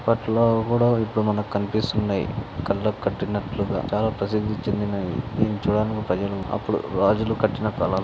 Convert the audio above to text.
అప్పటి లోవి కుడా ఇపుడు మన కి కనిపిస్తున్నాయి కళ్ళకి కట్టినట్లుగా చాలా ప్రసిద్ధి చెందినది ఇది చూడడానికి ప్రజలు అపుడు రాజులు కట్టిన కాలం.